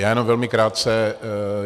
Já jenom velmi krátce.